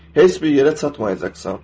Heç bir yerə çatmayacaqsan.